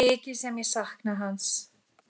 Mikið sem ég sakna hans.